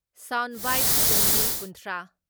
sound bite Tombi ꯀꯨꯟꯊ꯭ꯔꯥ